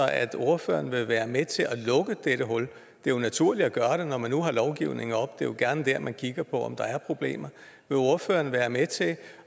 at ordføreren vil være med til at lukke dette hul det er jo naturligt at gøre det når man nu har lovgivningen oppe det er jo gerne dér man kigger på om der er problemer vil ordføreren være med til